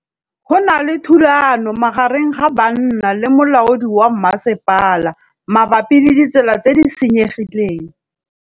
Go na le thulanô magareng ga banna le molaodi wa masepala mabapi le ditsela tse di senyegileng.